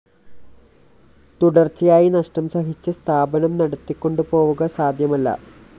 തുടര്‍ച്ചയായി നഷ്ടം സഹിച്ച് സ്ഥാപനം നടത്തികൊണ്ടുപോവുക സാധ്യമല്ല